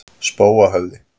Spóahöfða